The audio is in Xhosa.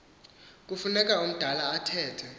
kufuneka umdala athethe